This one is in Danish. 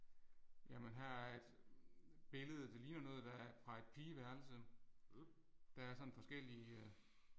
Jamen her er et billede det ligner noget der fra et pigeværelse. Der er sådan forskellige